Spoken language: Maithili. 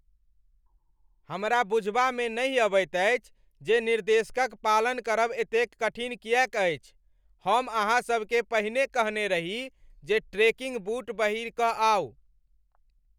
हमरा बुझबामे नहि अबैत अछि जे निर्देश क पालन करब एतेक कठिन किएक अछि। हम अहाँ सभकेँ पहिने कहने रही जे ट्रेकिंग बूट पहिरि कऽ आउ।